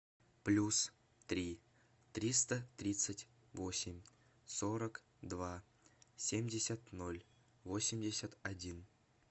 плюс три триста тридцать восемь сорок два семьдесят ноль восемьдесят один